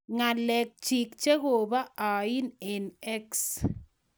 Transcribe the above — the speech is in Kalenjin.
Ngalek chik chekobo ain eng x.